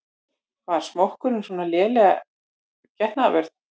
Var smokkurinn svona leiðinleg getnaðarvörn?